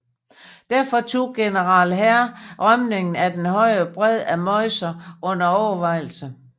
Derfor tog general Herr rømningen af den højre bred af Meuse under overvejelse